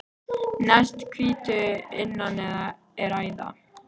Næst hvítu að innan er æða.